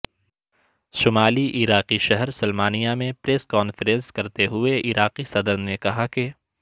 شمالی عراقی شہر سلمانیہ میں پریس کانفرنس کرتے ہوئے عراقی صدر نے کہا کہ